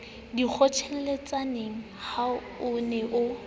dikgotjheletsaneng ha o ne o